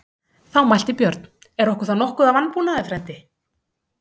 Þá mælti Björn: Er okkur þá nokkuð að vanbúnaði, frændi?